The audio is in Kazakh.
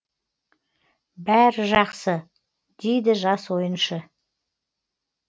бәрі жақсы дейді жас ойыншы